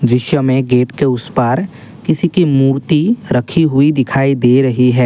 दृश्य में गेट के उसे पार किसी की मूर्ति रखी हुई दिखाई दे रही है।